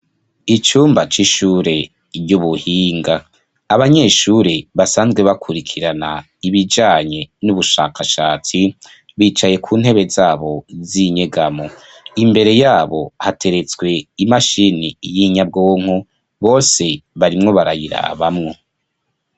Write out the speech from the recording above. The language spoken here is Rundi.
Icumba c'ishure ry'ubuhinga, abanyeshure basanzwe bakurikirana ibijanye n'ubushakashatsi , bicaye ku ntebe zabo z'inyegamo ,imbere yabo hateretswe imashini y'inyabwonko bose barimwo barayirabamwo.